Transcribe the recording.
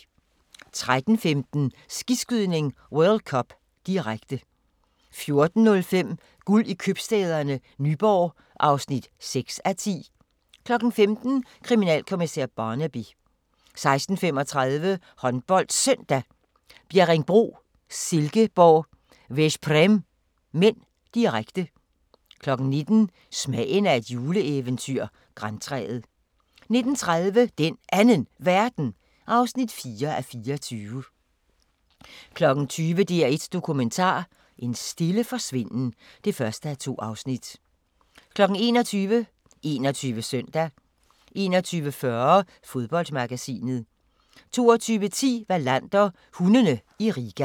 13:15: Skiskydning: World Cup, direkte 14:05: Guld i Købstæderne – Nyborg (6:10) 15:00: Kriminalkommissær Barnaby 16:35: HåndboldSøndag: Bjerringbro-Silkeborg - Veszprém (m), direkte 19:00: Smagen af et juleeventyr – Grantræet 19:30: Den Anden Verden (4:24) 20:00: DR1 Dokumentar: En stille forsvinden (1:2) 21:00: 21 Søndag 21:40: Fodboldmagasinet 22:10: Wallander: Hundene i Riga